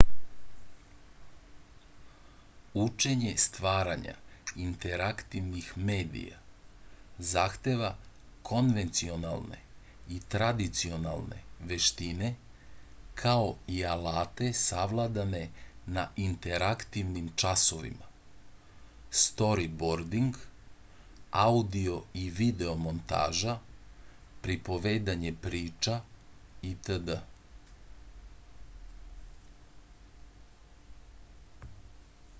учење стварања интерактивних медија захтева конвенционалне и традиционалне вештине као и алате савладане на интерактивним часовима сторибординг аудио и видео монтажа приповедање прича итд.